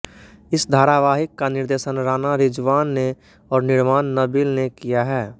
इस धारावाहिक का निर्देशन राणा रिज़्वान ने और निर्माण नबील ने किया है